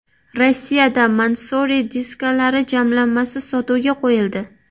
Rossiyada Mansory diskalari jamlanmasi sotuvga qo‘yildi.